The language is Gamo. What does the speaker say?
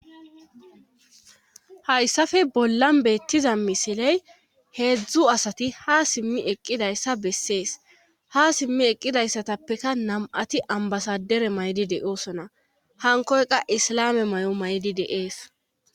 Haysafe bollan beettiza misiley heedzdzu asati haa simmi eqqidayssa besses;haa simmi eqqidayssatapeka nam7ati ambasadere mayidi de7oosona;hankkoy qa islaame mayo mayidi de7ees.